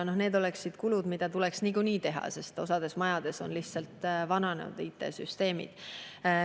Ent need oleksid kulud, mida tuleks niikuinii teha, sest osas majades on lihtsalt vananenud IT-süsteemid.